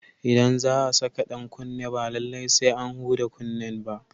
Idan za a saka dan kunne ba lallai sai an huda kunnen ba.